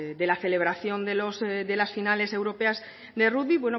de la celebración de las finales europeas de rugby